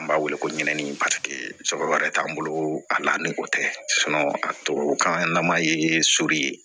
An b'a wele ko ɲinini wɛrɛ t'an bolo a la ni o tɛ a tubabu kan na maa ye so ye